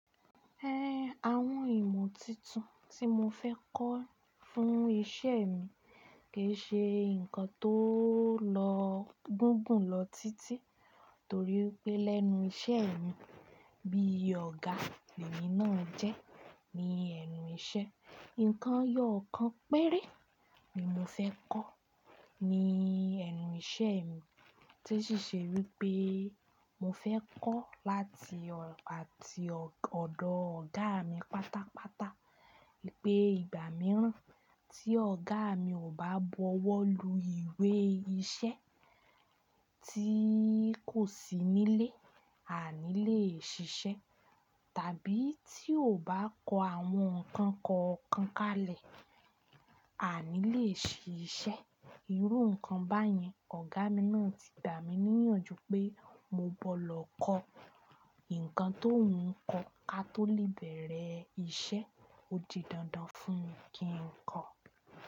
Ẹn, àwọn ìmọ̀ tuntun tí mo fẹ́ kọ́ fún iṣẹ́ mi kì í ṣe nǹkan tó lọ gùngùn lọ títí torí pé lẹ́nu iṣẹ́ mi bí ọ̀gá lemi náà jẹ́ ní ẹnu iṣẹ́. Nkàn eyọ kàn péré ni mo fẹ́ kọ́ ní ẹnu iṣẹ́ mi tí ó sì ṣe wípé mo fẹ́ kọ́ láti ọ̀ àti ọ̀dọ̀ ọ̀gá mi pátápátá wípé ìgbà mìíràn tí ọ̀gá mi ò bá bọwọ́ lu ìwé iṣẹ́ tí kò sí nílé, a ní leè ṣiṣẹ́ tàbí tí kò bá kọ àwọn nǹkan kọ̀ọ̀kan kalẹ̀, a ní leè ṣiṣẹ́. Irú nǹkan báyẹn ọ̀gá mi náà ti dà mí níyànjú pé mo gbọdọ̀ lọ kọ́ nǹkan tóùń kọ ka tó lè bẹ̀rẹ̀ iṣẹ́. Ó di dandan fún mi kí n kọ́.